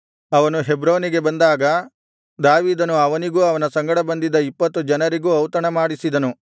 ಅವನು ಹೆಬ್ರೋನಿಗೆ ಬಂದಾಗ ದಾವೀದನು ಅವನಿಗೂ ಅವನ ಸಂಗಡ ಬಂದಿದ್ದ ಇಪ್ಪತ್ತು ಜನರಿಗೂ ಔತಣ ಮಾಡಿಸಿದನು